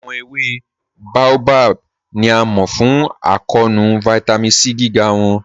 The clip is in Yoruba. Awọn èwé Baobab ni a mọ fún àkọọ̀nù Vitamin C gígá wọn.